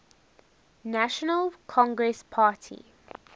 national congress party